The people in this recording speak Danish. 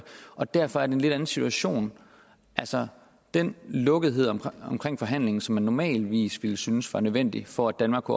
og derfor er det en lidt anden situation altså den lukkethed omkring omkring forhandlingen som man normalvis ville synes var nødvendig for at danmark